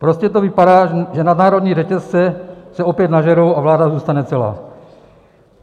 Prostě to vypadá, že nadnárodní řetězce se opět nažerou a vláda zůstane celá.